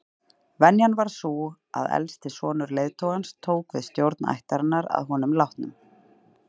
Venjan var sú að elsti sonur leiðtogans tók við stjórn ættarinnar að honum látnum.